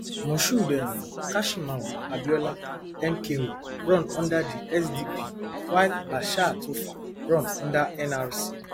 moshood um kashimawo abiola mko run under di sdp while bashir tofa run under nrc